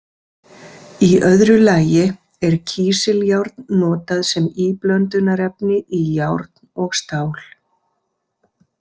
Í öðru lagi er kísiljárn notað sem íblöndunarefni í járn og stál.